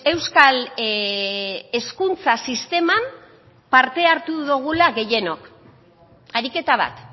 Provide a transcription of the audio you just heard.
euskal hezkuntza sisteman parte hartu dugula gehienok ariketa bat